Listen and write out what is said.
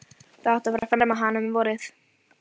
Það átti að fara að ferma hana um vorið.